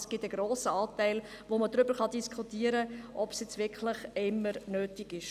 Es gibt einen grossen Anteil, bei dem man darüber diskutieren kann, ob es wirklich immer nötig ist.